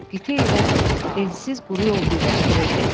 Qitə ilə ensiz quru yol birləşdirirdi.